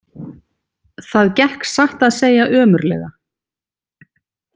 Það gekk satt að segja ömurlega.